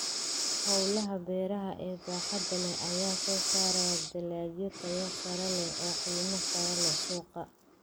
Hawlaha beeraha ee baaxadda leh ayaa soo saaraya dalagyo tayo sare leh oo qiimo sare leh suuqa.